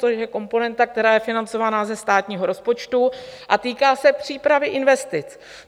To je komponenta, která je financována ze státního rozpočtu a týká se přípravy investic.